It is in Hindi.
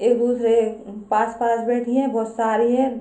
एक दूसरे आ पास पास बैठी है बहुत सारी हैं।